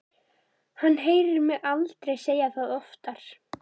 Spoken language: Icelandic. Hann heyrir mig aldrei segja það oftar.